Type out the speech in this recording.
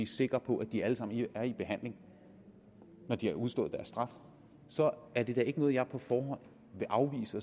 sikre på at de alle sammen er i behandling når de har udstået deres straf så er det da ikke noget jeg på forhånd vil afvise